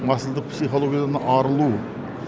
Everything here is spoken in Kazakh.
масылдық психологиядан арылу